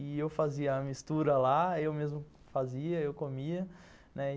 E eu fazia a mistura lá, eu mesmo fazia, eu comia, né.